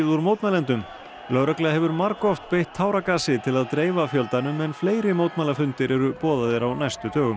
úr mótmælendum lögregla hefur margoft beitt táragasi til að dreifa fjöldanum en fleiri mótmælafundir eru boðaðir á næstu dögum